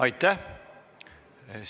Aitäh!